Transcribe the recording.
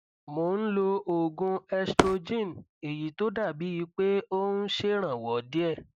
mo ń lo oògùn estrogen èyí tó dàbíi pé ó ń ṣèrànwọ díẹ